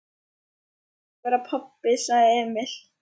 Það hlýtur að vera pabbi, sagði Emil.